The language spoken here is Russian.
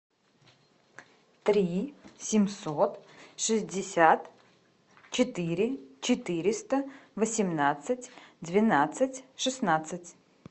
три семьсот шестьдесят четыре четыреста восемнадцать двенадцать шестнадцать